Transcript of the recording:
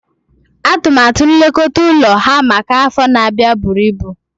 Atụmatụ nlekọta ụlọ ha maka afọ na-abịa buru ibu